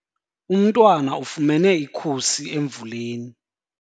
Umntwana ufumene ikhusi emvuleni.